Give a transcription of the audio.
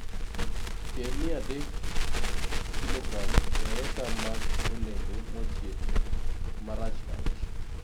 Keyo 300kg e acre mag olembe mochiek (marachar)